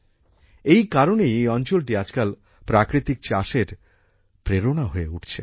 এই কারণেই এই অঞ্চলটি আজকাল প্রাকৃতিক চাষের প্রেরণা হয়ে উঠছে